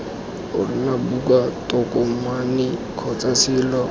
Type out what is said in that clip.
ona buka tokomane kgotsa selo